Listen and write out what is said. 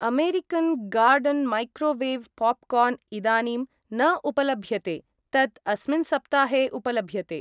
American garden microwave popcorn इदानीं न उपलभ्यते, तत् अस्मिन् सप्ताहे उपलभ्यते।